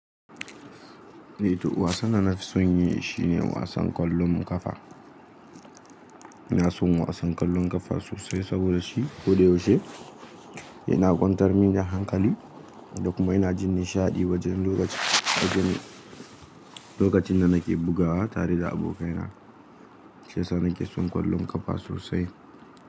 Eh to wasan da na fi son yi shine wasan kwallon kafa. Ina son wasan kwallon kafa sosai saboda shi ko da yaushe yana kwantar mini da hankali da kuma ina jinin shaɗi wajen lokacin da nake bugawa tare da abokaina. Shi yasa nake son kwallon kafa sosai.